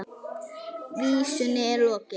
Vísunni er lokið.